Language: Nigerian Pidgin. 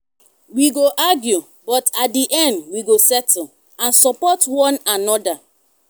we go argue but at di end we go settle and support one another.